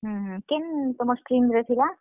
ହୁଁ ହୁଁ, କେନ୍ ତୁମର୍ stream ରେ ଥିଲା?